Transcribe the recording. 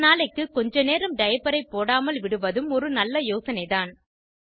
ஒரு நாளைக்கு கொஞ்ச நேரம் டைப்பரை போடாமல் விடுவதும் ஒரு நல்ல யோசனைதான்